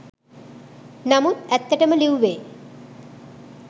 නමුත් ඇත්තටම ලිව්වේ